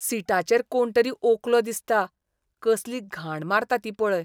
सीटाचेर कोण तरी ओंकलो दिसता, कसली घाण मारता ती पळय.